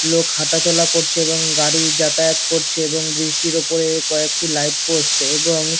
লোক হাটা চলা করছে এবং গাড়ি যাতায়াত করছে এবং বৃষ্টির উপরে কয়েকটি লাইট পোস্ট -এ এবং।